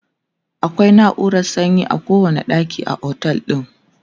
akwai nauran sanyi a kowani ɗaki a otel din